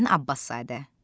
Hüseyn Abbaszadə.